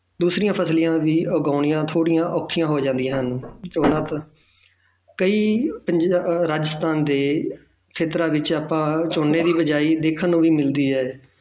ਦੂਸਰੀਆਂ ਫ਼ਸਲਾਂ ਦੇ ਉਗਾਉਣੀਆਂ ਥੋੜ੍ਹੀਆਂ ਔਖੀਆਂ ਹੋ ਜਾਂਦੀਆਂ ਹਨ ਜ਼ਿਆਦਾਤਰ ਕਈ ਪੰਜ~ ਅਹ ਰਾਜਸਥਾਨ ਦੇ ਖ਼ੇਤਰਾਂ ਵਿੱਚ ਆਪਾਂ ਝੋਨੇ ਦੀ ਬੀਜਾਈ ਦੇਖਣ ਨੂੰ ਵੀ ਮਿਲਦੀ ਹੈ